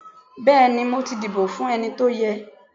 beeni mo ti dibo fun eni to ye.